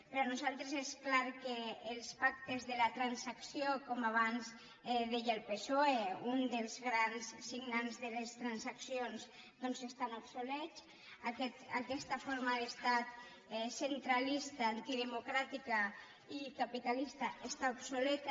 per nosaltres és clar que els pactes de la transacció com abans deia el psoe un dels grans signants de les transaccions doncs estan obsolets aquesta forma d’estat centralista antidemocràtica i capitalista està obsoleta